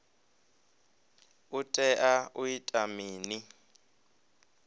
u tea u ita mini